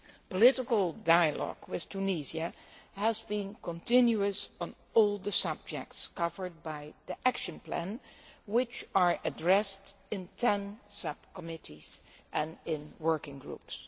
Political dialogue with Tunisia has been continuous on all the subjects covered by the action plan, which are addressed in 10 subcommittees and in working groups.